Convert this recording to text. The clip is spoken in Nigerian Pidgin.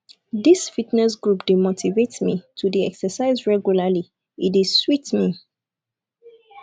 dis fitness group dey motivate me to dey exercise regularly e dey sweet me